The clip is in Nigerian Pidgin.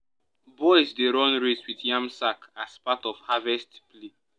boys dey run race with yam sack as part of harvest play.